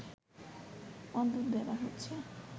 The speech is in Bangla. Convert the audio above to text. অদ্ভুত ব্যাপার হচ্ছে